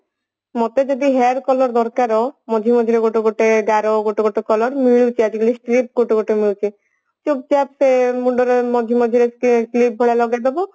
ମତେ ଯଦି hair color ଦରକାର ମଝିରେ ମଝିରେ ଗୋଟେ ଗୋଟେ ଗାର ଗୋଟେ ଗୋଟେ color ମିଳୁଛି ଆଜିକାଲି strip ଗୋଟେ ଗୋଟେ ମିଳୁଛି ଚୁପ ଚାପ ମୁଣ୍ଡର ମଝି ମଝିରେ ସେ clip ଭଳି ଲଗେଇଦେବ